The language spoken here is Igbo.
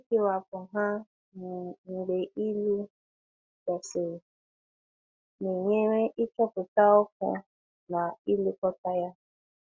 Ịkewapụ ha um mgbe ịlụ gasịrị na-enyere ịchọpụta ọkụ na ilekọta ya.